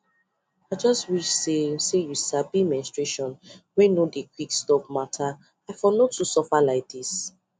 i just wish say say u sabi menstruation wey no dey quick stop matter for no too suffer like this